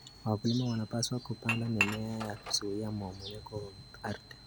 Wakulima wanapaswa kupanda mimea ya kuzuia mmomonyoko wa ardhi.